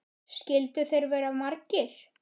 Skyldu þeir vera margir?